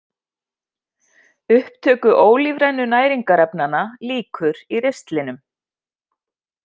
Upptöku ólífrænu næringarefnanna lýkur í ristlinum.